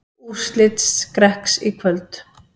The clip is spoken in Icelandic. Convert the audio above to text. Úrslit Skrekks í kvöld